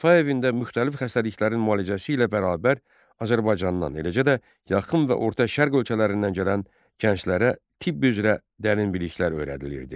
Şəfa evində müxtəlif xəstəliklərin müalicəsi ilə bərabər Azərbaycandan, eləcə də yaxın və orta Şərq ölkələrindən gələn gənclərə tibb üzrə dərin biliklər öyrədilirdi.